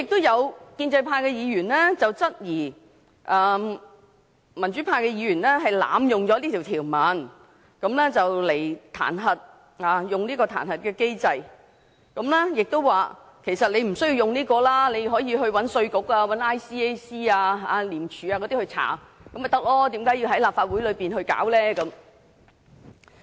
有建制派議員質疑民主派議員濫用這項條文訂明的彈劾機制，說我們其實不需要引用這條文，大可以找稅務局或廉政公署進行調查，為何要在立法會進行調查？